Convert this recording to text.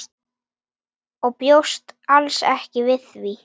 Bjóst alls ekki við því.